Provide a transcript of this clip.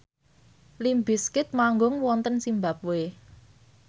limp bizkit manggung wonten zimbabwe